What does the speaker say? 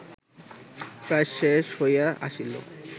প্রায় শেষ হইয়া আসিল